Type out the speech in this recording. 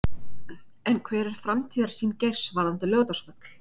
En hver er framtíðarsýn Geirs varðandi Laugardalsvöll?